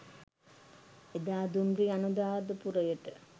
එදා දුම්රිය අනුරාධපුරයට